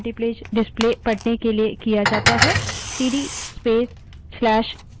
CD space/यूज़र/bin cd space/usr/bin type करें